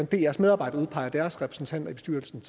drs medarbejdere udpeger deres repræsentanter i bestyrelsen